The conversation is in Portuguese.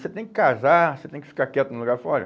Você tem que casar, você tem que ficar quieto no lugar fora.